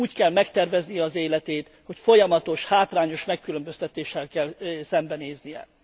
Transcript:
Úgy kell megterveznie az életét, hogy folyamatos hátrányos megkülönböztetéssel kell szembenéznie.